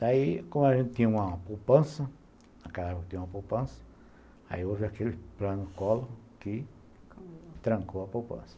Daí, como a gente tinha uma poupança, naquela época tinha uma poupança, aí hoje é aquele plano-collor que trancou a poupança.